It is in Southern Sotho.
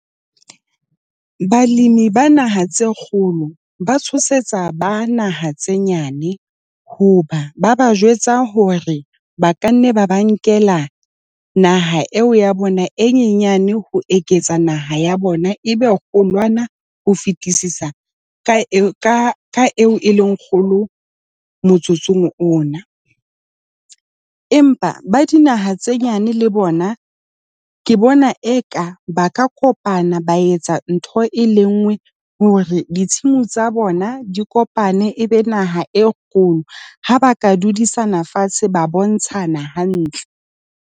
Balemi ba naha tse kgolo ba tshosetsa ba naha tse nyane hoba ba ba jwetsa hore ba ka nne ba ba nkela naha eo ya bona e nyenyane ho eketsa naha ya bona, e be ho loana ho fetisisa ka ka eo e leng kgolo motsotsong ona. Empa ba dinaha tse nyane le bona ke bona eka ba ka kopana, ba etsa ntho e lengwe hore ditshimo tsa bona di kopane, e be naha e kgolo. Ha ba ka dudisane fatshe, ba bontshana hantle.